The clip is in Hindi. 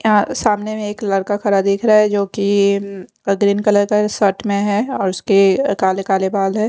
सामने में एक लड़का खड़ा दिख रहा है जो कि ग्रीन कलर का शर्ट में है और उसके काले काले बाल है।